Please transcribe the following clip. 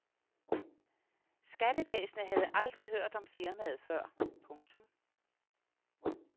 Skattevæsenet havde aldrig hørt om firmaet før. punktum